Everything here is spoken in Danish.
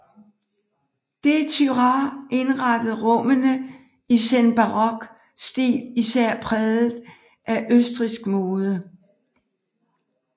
De Thurah indrettede rummene i senbarok stil især præget af østrigsk mode